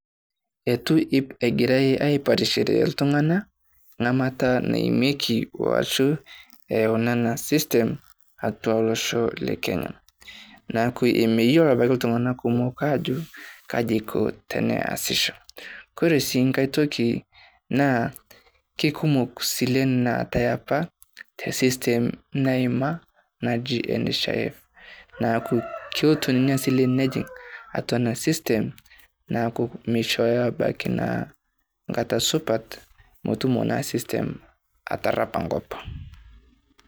Eitu egirai aipatishore iltung`anak lamata naimieki aashu eyauni ena system atua olosho le Kenya. Niaku imeyiolo apake iltung`anak kumok aajo kaji iko teneasisho. Ore sii enkae toki naa kikumok isilen naatae apa te system naima apa naji NHIF. Niaku kelotu ninye esile nejing atua ena system niaku mishooyo ebaiki naa enkata supat metumo naa system aterrepa enkop.